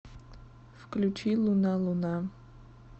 включи луна луна